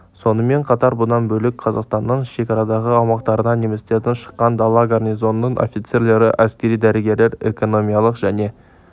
сонымен қатар бұдан бөлек қазақстанның шекарадағы аумақтарына немістерден шыққан дала гарнизонының офицерлері әскери дәрігерлер экономикалық және